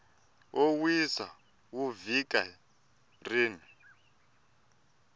wo wisa wa vhiki rin